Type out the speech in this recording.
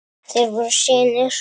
Þeir voru synir